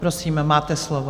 Prosím, máte slovo.